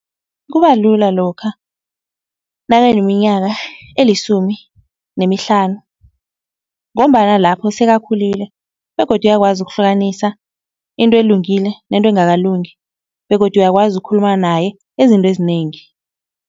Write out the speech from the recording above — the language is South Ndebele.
Kubalula lokha nakaneminyaka elisumi nemihlanu ngombana lapho sekakhulile begodu uyakwazi ukuhlukanisa into elungile nento engakalungi begodu uyakwazi ukukhuluma naye ezinto ezinengi.